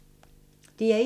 DR1